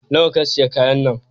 Nawa ka siya kayan nan?